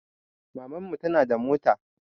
Maman mu tana da mota